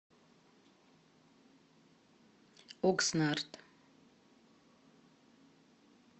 окснард